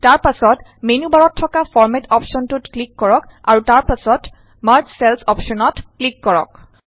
তাৰ পাছত মেন্যু বাৰত থকা ফৰমেট অপশ্যনটোত ক্লিক কৰক আৰু তাৰ পাছত মাৰ্জ চেলচ অপশ্যনত ক্লিক কৰক